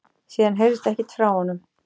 Síðan heyrðist ekkert frá honum